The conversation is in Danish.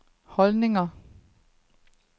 holdninger